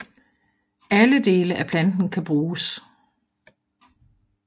Alle dele af planten kan bruges